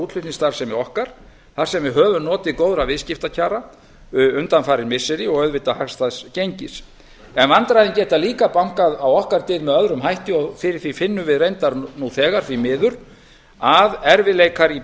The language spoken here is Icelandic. útflutningsstarfsemi okkar þar sem við höfum notið góðra viðskiptakjara undanfarin missiri og auðvitað hagstæðs gengis en vandræðin geta líka bankað á okkar dyr með öðrum hætti og fyrir því finnum við reyndar nú þegar því miður að erfiðleikar í